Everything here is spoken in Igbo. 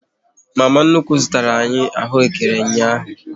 Mama nnukwu zụtara anyị ahụekere ụnyaahụ